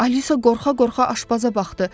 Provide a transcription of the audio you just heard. Alisa qorxa-qorxa aşbaza baxdı.